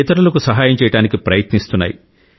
ఇతరులకు సహాయం చేయడానికి ప్రయత్నిస్తున్నాయి